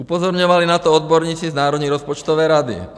Upozorňovali na to odborníci z Národní rozpočtové rady.